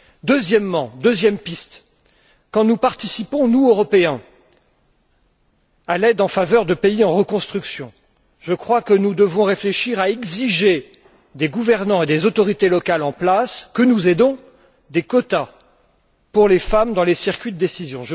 Deuxième piste quand nous participons, nous Européens, à l'aide en faveur de pays en reconstruction, je crois que nous devons réfléchir à exiger des gouvernants et des autorités locales en place que nous aidons des quotas pour les femmes dans les circuits de décision.